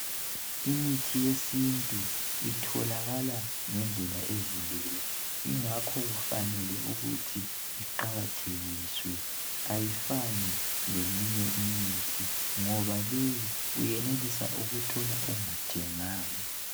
Imithi yesintu itholakala ngendlela ezilula ingakho kufanele ukuthi iqakathekiswe ayifani leminye imithi ngoba leyi uyenelisa ukuthola ongathenganga